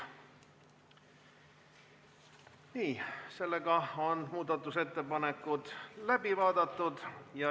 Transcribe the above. Nii, muudatusettepanekud on läbi vaadatud.